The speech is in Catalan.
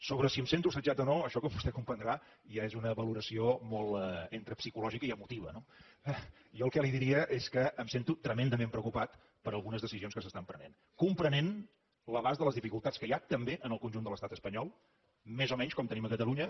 sobre si em sento assetjat o no això com vostè comprendrà ja és una valoració molt entre psicològica i emotiva no jo el que li diria és que em sento tremendament preocupat per algunes decisions que s’estan prenent comprenent l’abast de les dificultats que hi ha també en el conjunt de l’estat espanyol més o menys com tenim a catalunya